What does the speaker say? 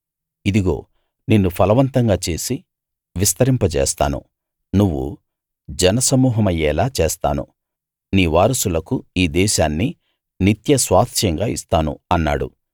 ఇదిగో నిన్ను ఫలవంతంగా చేసి విస్తరింపజేస్తాను నువ్వు జన సమూహమయ్యేలా చేస్తాను నీ వారసులకు ఈ దేశాన్ని నిత్య స్వాస్థ్యంగా ఇస్తాను అన్నాడు